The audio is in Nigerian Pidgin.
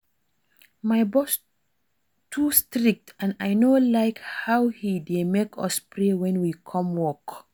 My boss too strict and I no like how he dey make us pray wen we come work